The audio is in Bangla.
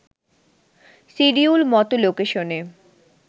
সিডিউল মতো লোকেশনে